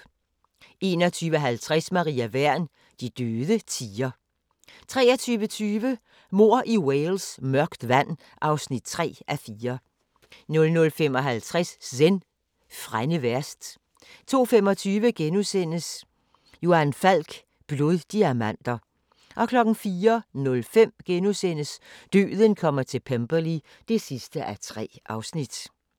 21:50: Maria Wern: De døde tier 23:20: Mord i Wales: Mørkt vand (3:4) 00:55: Zen: Frænde værst 02:25: Johan Falk: Bloddiamanter * 04:05: Døden kommer til Pemberley (3:3)*